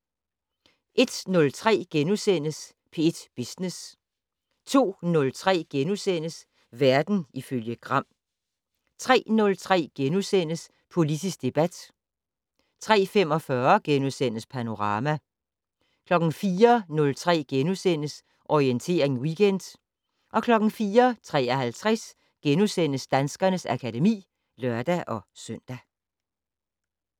01:03: P1 Business * 02:03: Verden ifølge Gram * 03:03: Politisk debat * 03:45: Panorama * 04:03: Orientering Weekend * 04:53: Danskernes akademi *(lør-søn)